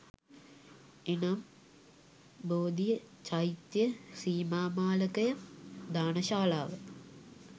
එනම්, බෝධිය, චෛත්‍යය, සීමාමාලකය, දාන ශාලාව